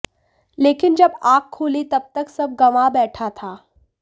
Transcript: लेकिन जब आंख खुली तब तक सब गंवा बैठा था